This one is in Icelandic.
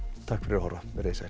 takk fyrir að horfa veriði sæl